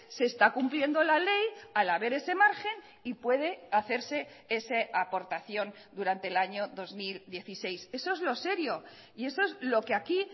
se está cumpliendo la ley al haber ese margen y puede hacerse esa aportación durante el año dos mil dieciséis eso es lo serio y eso es lo que aquí